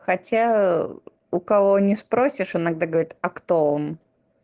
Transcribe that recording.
хотя у кого не спросишь иногда говорит а кто он